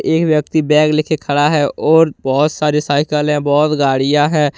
एक व्यक्ति बैग ले के खड़ा है और बहुत सारी साइकिल है बहुत गाड़ियां हैं।